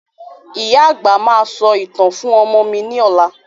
Ìyá àgbà máa sọ ìtàn fún ọmọ mi ni ọ̀la